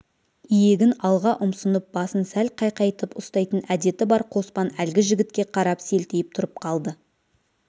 иегін алға ұмсынып басын сәл қайқайтып ұстайтын әдеті бар қоспан әлгі жігітке қарап селтиіп тұрып қалды